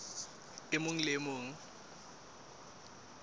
e mong le e mong